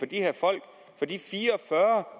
de her folk de fire